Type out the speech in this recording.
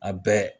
A bɛɛ